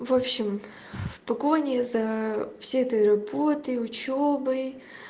вообщем в погоне за всей этой работой и учёбой